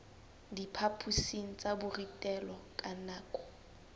diphaphosing tsa borutelo ka nako